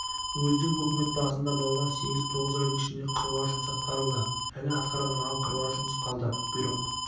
уездік өкімет басында болған сегіз-тоғыз айдың ішінде қыруар жұмыс атқарылды әлі атқарылмаған қыруар жұмыс қалды бұйрық